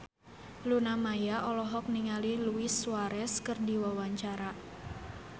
Luna Maya olohok ningali Luis Suarez keur diwawancara